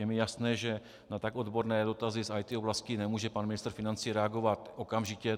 Je mi jasné, že na tak odborné dotazy z IT oblasti nemůže pan ministr financí reagovat okamžitě.